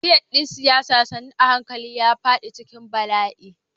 Kamfen ɗin siyasa sannu a hankali ya faɗi cikin bala'i.